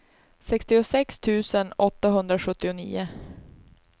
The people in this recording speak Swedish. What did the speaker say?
sextiosex tusen åttahundrasjuttionio